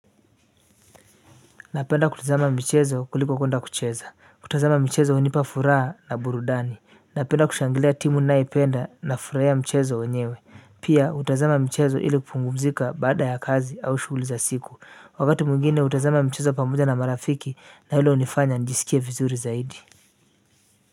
Napenda kutazama michezo kuliko kwenda kucheza, kutazama michezo hunipa furaha na burudani, napenda kushangilia timu nayoipenda na furahia mchezo wenyewe, pia hutazama michezo ili kupumzika baada ya kazi au shughuli za siku, wakati mwingine hutazama michezo pamoja na marafiki na hilo hunifanya nijisikie vizuri zaidi.